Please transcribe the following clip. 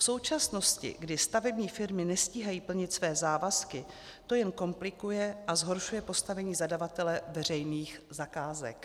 V současnosti, kdy stavební firmy nestíhají plnit své závazky, to jen komplikuje a zhoršuje postavení zadavatele veřejných zakázek.